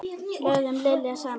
Lögðum iljar saman.